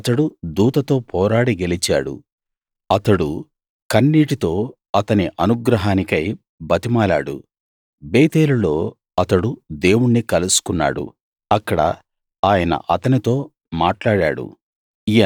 అతడు దూతతో పోరాడి గెలిచాడు అతడు కన్నీటితో అతని అనుగ్రహానికై బతిమాలాడు బేతేలులో అతడు దేవుణ్ణి కలుసుకున్నాడు అక్కడ ఆయన అతనితో మాట్లాడాడు